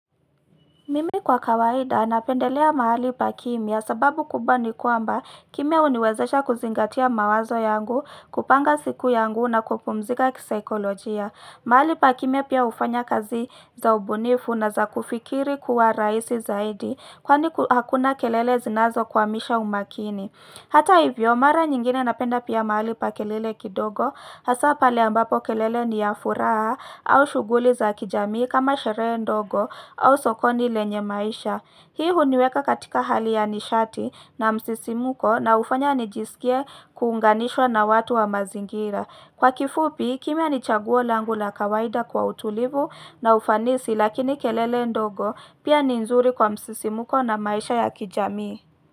Mimi kwa kawaida napendelea mahali pa kimya sababu kubwa ni kwamba kimya huniwezesha kuzingatia mawazo yangu, kupanga siku yangu na kupumzika kisaikolojia. Mahali pa kimya pia hufanya kazi za ubunifu na za kufikiri kuwa rahisi zaidi kwani hakuna kelele zinazokwamisha umakini. Hata hivyo, mara nyingine napenda pia mahali pa kelele kidogo, hasa pale ambapo kelele ni ya furaha au shughuli za kijamii kama sherehe ndogo au sokoni lenye maisha. Hii huniweka katika hali ya nishati na msisimuko na hufanya nijisikie kuunganishwa na watu wa mazingira. Kwa kifupi, kimya ni chaguo langu la kawaida kwa utulivu na ufanisi lakini kelele ndogo pia ni nzuri kwa msisimuko na maisha ya kijamii.